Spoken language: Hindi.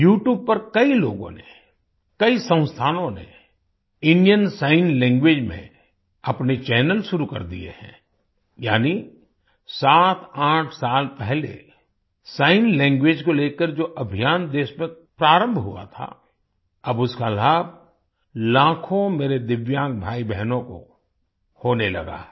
YouTube पर कई लोगों ने कई संस्थानों नेइंडियन सिग्न लैंग्वेज में अपने चैनल शुरू कर दिए हैं यानि78 साल पहले सिग्न लैंग्वेज को लेकर जो अभियान देश में प्रारंभ हुआ था अब उसका लाभ लाखों मेरे दिव्यांग भाईबहनों को होने लगा है